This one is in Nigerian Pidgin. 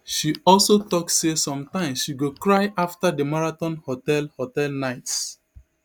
she also tok say sometimes she go cry afta di marathon hotel hotel nights